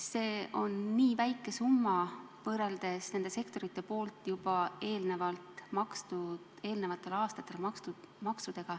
See on nii väike summa võrreldes maksudega, mida need sektorid on eelmistel aastatel maksnud.